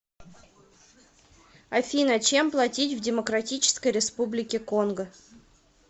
афина чем платить в демократической республике конго